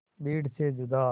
भीड़ से जुदा